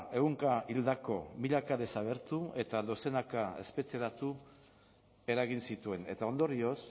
ehunka hildako milaka desagertu eta dozenaka espetxeratu eragin zituen eta ondorioz